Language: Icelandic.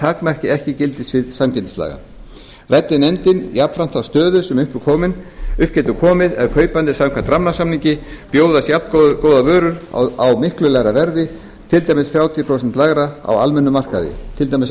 takmarki ekki gildissvið samkeppnislaga ræddi nefndin jafnframt þá stöðu sem upp getur komið ef kaupanda samkvæmt rammasamningi bjóðast jafngóðar vörur á mikið lægra verði til dæmis þrjátíu prósent lægra á almennum markaði til dæmis á